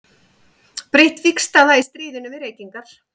Breytt vígstaða í stríðinu við reykingar.